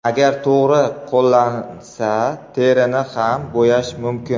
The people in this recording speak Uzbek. Agar to‘g‘ri qo‘llansa, terini ham bo‘yash mumkin.